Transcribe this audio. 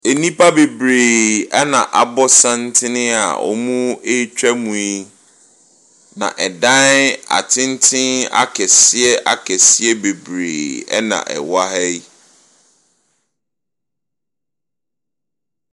Nnipa bebree na abɔ santene a wɔretwa mu yi. Na dan atenten akɛseɛ akɛseɛ bebree na ɛwɔ ha yi.